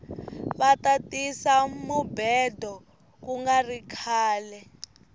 vata tisa mubhedo kungari khale